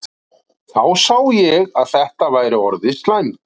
Þá sá ég að þetta væri orðið slæmt.